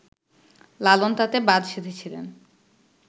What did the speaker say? লালন তাতে বাদ সেধেছিলেন